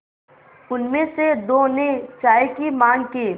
उनमें से दो ने चाय की माँग की